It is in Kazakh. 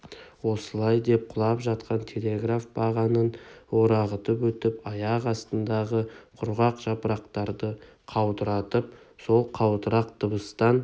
осылай деп құлап жатқан телеграф бағанын орағытып өтіп аяқ астындағы құрғақ жапырақтарды қаудыратып сол қаудырақ дыбыстан